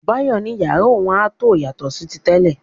Báyọ̀ ní yàrá òun a tó yàtọ̀ sí ti tẹ́lẹ̀.